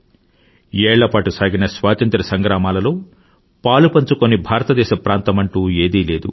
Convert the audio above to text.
ఏళ్లపాటు సాగిన స్వాతంత్ర్య సంగ్రామాంలో పాలుపంచుకోని భాతరదేశ ప్రాంతమంటూ ఏది లేదు